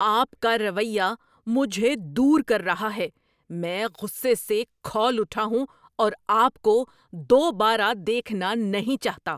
آپ کا رویہ مجھے دور کر رہا ہے۔ میں غصے سے کھول اٹھا ہوں اور آپ کو دوبارہ دیکھنا نہیں چاہتا!